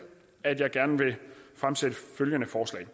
at jeg gerne vil fremsætte følgende forslag